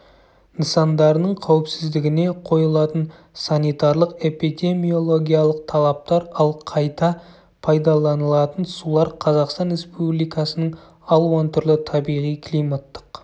нысандарының қауіпсіздігіне қойылатын санитарлық-эпидемиологиялық талаптар ал қайта пайдаланылатын сулар қазақстан республикасының алуан түрлі табиғи-климаттық